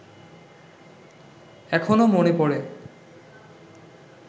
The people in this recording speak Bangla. এখনো মনে পড়ে